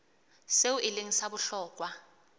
seo e leng sa bohlokwa